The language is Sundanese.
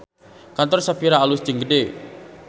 Kantor Shafira alus jeung gede